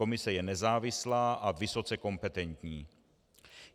Komise je nezávislá a vysoce kompetentní.